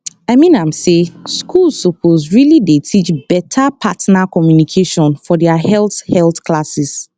i mean am say schools suppose really dey teach beta partner communication for their health health classes